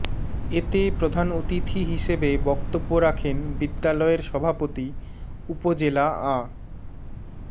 এতে প্রধান অতিথি হিসেবে বক্তব্য রাখেন বিদ্যালয়ের সভাপতি উপজেলা আ